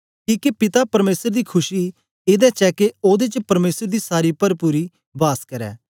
किके पिता परमेसर दी खुशी एदे च ऐ के ओदे च परमेसर दी सारी परपुरी वास करै